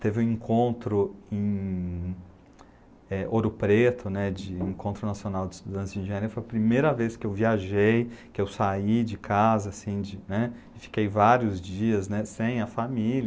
Teve um encontro em é Ouro Preto, de Encontro Nacional de Estudantes de Engenharia, foi a primeira vez que eu viajei, que eu saí de casa, fiquei vários dias, né, sem a família.